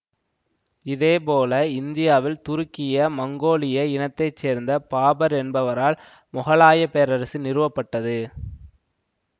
இதே போல இந்தியாவில் துருக்கிய மங்கோலிய இனத்தை சேர்ந்த பாபர் என்பவரால் மொகலாய பேரரசு நிறுவப்பட்டது